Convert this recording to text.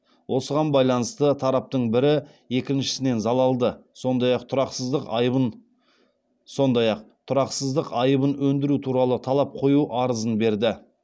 осыған байланысты тараптың бірі екіншісінен залалды сондай ақ тұрақсыздық айыбын өндіру туралы талап қою арызын берді